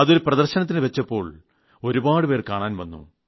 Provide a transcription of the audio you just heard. അതൊരു പ്രദർശനത്തിൽ വച്ചപ്പോൾ ഒരുപാട് പേർ കാണാൻ വന്നു